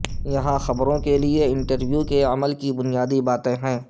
یہاں خبریں خبریں کے لئے انٹرویو کے عمل کی بنیادی باتیں ہیں